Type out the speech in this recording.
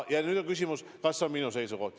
Oli ka küsimus, kas see on minu seisukoht.